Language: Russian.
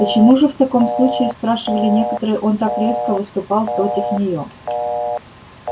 почему же в таком случае спрашивали некоторые он так резко выступал против неё